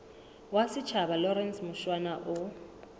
wa setjhaba lawrence mushwana o